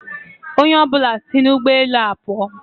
Onye ọ bụla si n'ụgbọ elu a pụọ.